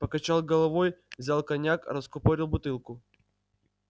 покачал головой взял коньяк раскупорил бутылку